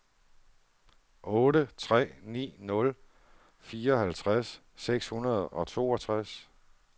otte tre ni nul fireoghalvtreds seks hundrede og toogtres